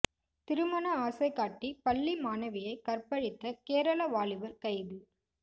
திருமண ஆசை காட்டி பள்ளி மாணவியை கற்பழித்த கேரள வாலிபர் கைது